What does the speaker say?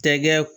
Tɛgɛ